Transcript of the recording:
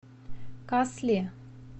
касли